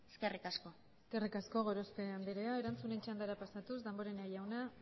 eskerrik asko eskerrik asko gorospe anderea erantzunen txandara pasatuz damborenea jauna